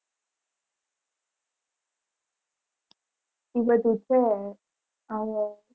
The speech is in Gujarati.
ઇ બધુ છે હવે.